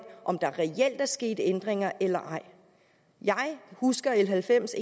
om der reelt er sket ændringer eller ej jeg husker l halvfems